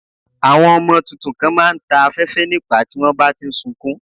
Àwọn ọmọ tuntun kan má a ń ta afẹ́fẹ́ nípàá tí wọ́n bá ti ń sukún